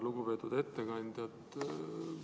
Lugupeetud ettekandja!